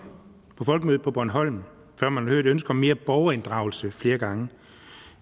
på folkemødet på bornholm før man hører et ønske om mere borgerinddragelse flere gange